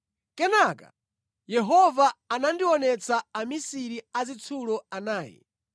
Kenaka Yehova anandionetsa amisiri azitsulo anayi.